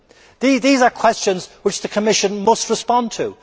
These are questions which the Commission must respond to.